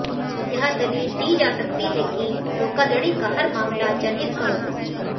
यह दलील दी जा सकती है कि धोखाधड़ी का हर मामला जनहित का होगा